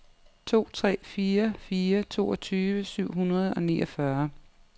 to tre fire fire toogtyve syv hundrede og niogfyrre